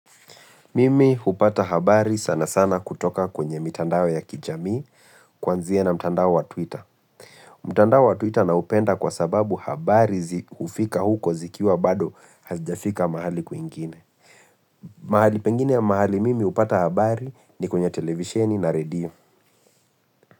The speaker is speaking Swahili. Mimi hupata habari sana sana kutoka kwenye mitandao ya kijamii kwanzia na mitandao wa twitter. Mtandao wa twitter naupenda kwa sababu habari zi ufika huko zikiwa bado hazijafika mahali kuingine. Mahali pengine mahali mimi hupata habari ni kwenye televisheni na radio.